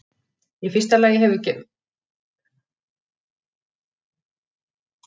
Í fyrsta lagi hefur gerð misgengisins sem veldur skjálftanum áhrif.